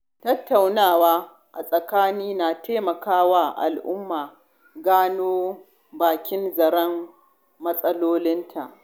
Tattunawa a tsakani na taimaka wa al'umma gano bakin zaren matsalolinta.